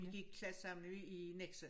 Vi gik i klasse sammen nede i Nexø